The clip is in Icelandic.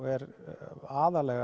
er aðallega